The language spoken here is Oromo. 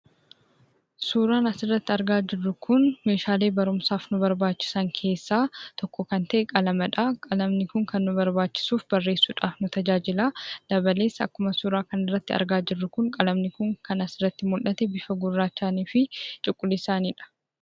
Suuraan asirratti argaa jirru kun meeshaalee barumsaaf nu barbaachisan keessaa tokko kan ta'e qalamadha. Qalamni kun kan nu tajaajiluuf barreessudhaaf nu tajaajiludha. Dabalees akkuma suuraa kana irratti argaa jirru qalamni kun kan asirratti mul'ate bisa gurraachaafi cuqulisaanidha.